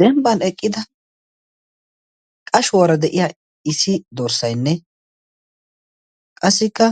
dembban eqqida qashuwaara de7iya issi dorssainne qassikka